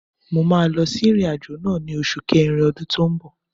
Mo máa lọ sí ìrìn-àjò náà ni osu kerin ọdún tó ń bọ̀.